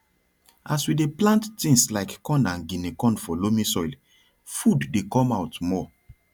as we dey plant things like corn and guinea corn for loamy soil food dey come out more